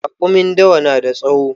Raƙumin dawa na da tsawo